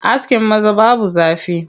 Askin maza babu zafi.